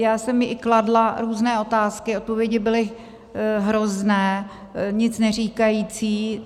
Já jsem jí i kladla různé otázky, odpovědi byly hrozné, nic neříkající.